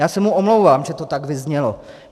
Já se mu omlouvám, že to tak vyznělo.